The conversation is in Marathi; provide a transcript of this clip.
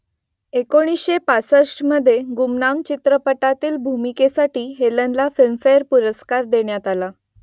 एकोणीसशे पासष्टमध्ये गुमनाम चित्रपटातील भूमिकेसाठी हेलनला फिल्मफेअर पुरस्कार देण्यात आला